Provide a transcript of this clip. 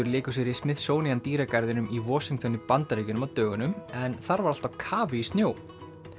léku sér í Smithsonian dýragarðinum í Washington í Bandaríkjunum á dögunum en þar var allt á kafi í snjó